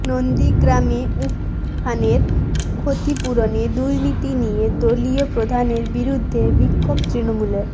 নন্দীগ্রামে উমফানের ক্ষতিপূরণে দুর্নীতি নিয়ে দলীয় প্রধানের বিরুদ্ধে বিক্ষোভ তৃণমূলের